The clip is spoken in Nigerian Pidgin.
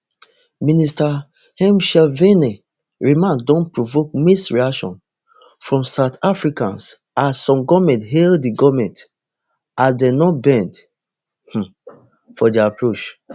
minister ntshavheni remarks don provoke mixed reaction from south africans as some goment hail di goment as dem no bend um for dia approach